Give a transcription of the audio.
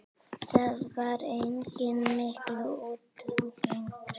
Þaðan var einnig mikil útgerð.